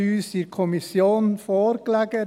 der SiK. Der Antrag lag uns in der Kommission vor.